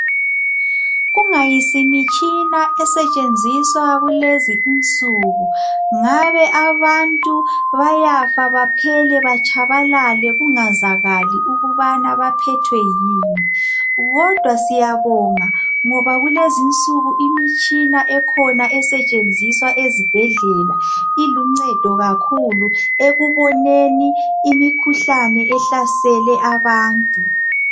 Kungayisimitshina esetshenziswa kulezi insuku, ngabe abantu bayafa baphele batshabalale kungazakali ukubana baphathwe yini. Kodwa siyabonga ngoba kulezinsuku imitshina ekhona esetshenziswa ezibhedlela iluncedo kakhulu ekuboneni imikhuhlane ehlasele abantu.